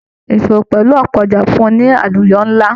Ìṣòwò pẹlú ọpọ ọjà fún ni àlùyọ nla.